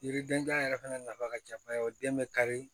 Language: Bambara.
Yiridenjan yɛrɛ fana nafa ka jan kosɛbɛ o den bɛ kari